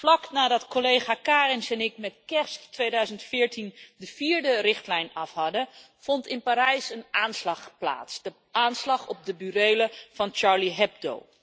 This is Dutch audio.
Vlak nadat collega Kariņš en ik met kerst 2014 de vierde richtlijn af hadden, vond in Parijs een aanslag plaats, de aanslag op de burelen van Charlie Hebdo.